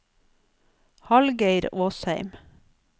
Hallgeir Åsheim